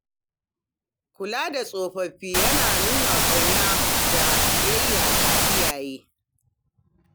Kula da tsofaffi yana nuna ƙauna da biyayya ga iyaye.